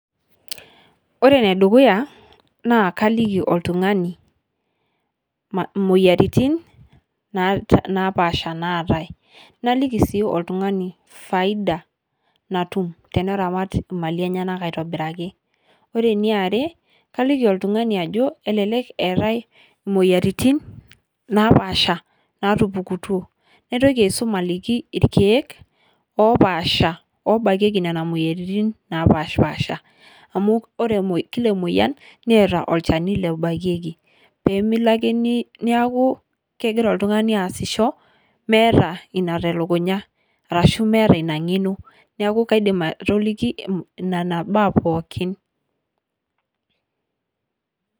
Ore ne dukuyaa naa kaliiki oltung'ani moyiaritin naapasha naatai. Naliiki sii oltung'ana faida natuum teneramaat maali enyanak aitobiraki. Ore ne aare kaliiki oltung'ani ajoo elelek neetai moyiaritin napaasha natupukutu. Naitoki aisomu alikii lkiek oopaasha obaakeki nenia moyiaritin napaash paasha, amu ore kile emoyian neeta olchaani loobaakeki pee miloo ake naaku kegira iltung'ani aasishoo nemeata enia te lukunyaa arashu meata enia ng'enoo. Naaku kaidiim atoliki nena baa pookin.